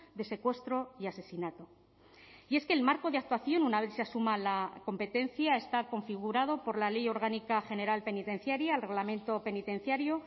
de secuestro y asesinato y es que el marco de actuación una vez se asuma la competencia está configurado por la ley orgánica general penitenciaria el reglamento penitenciario